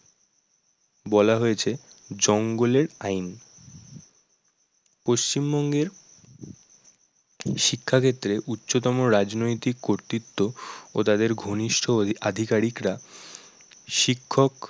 বলা হয়েছে জঙ্গলের আইন পশ্চিমবঙ্গের শিক্ষাক্ষেত্রে উচ্চতম রাজনৈতিক কর্তিত ও তাদের ঘনিষ্ঠ ~অধি আধিকারিকরা শিক্ষক